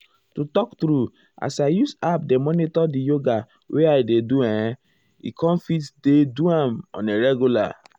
to talk true as i use app dey monitor di yoga wey i dey do[um]ehn e com fit dey do am on a regular.